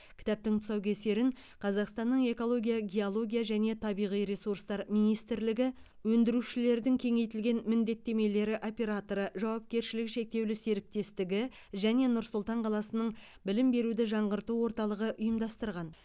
кітаптың тұсаукесерін қазақстанның экология геология және табиғи ресурстар министрлігі өндірушілердің кеңейтілген міндеттемелері операторы жауапкершілігі шектеулі серіктестігі және нұр сұлтан қаласының білім беруді жаңғырту орталығы ұйымдастырған